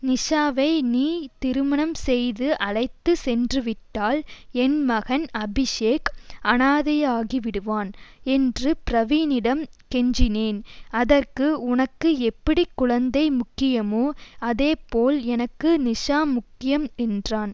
நிசாவை நீ திருமணம் செய்து அழைத்து சென்றுவிட்டால் என் மகன் அபிஷேக் அனாதையாகிவிடுவான் என்று பிரவீனிடம் கெஞ்சினேன் அதற்கு உனக்கு எப்படி குழந்தை முக்கியமோ அதேபோல் எனக்கு நிசா முக்கியம் என்றான்